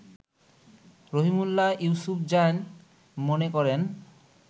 রহিমউল্লাহ ইউসুফজাই মনে করেন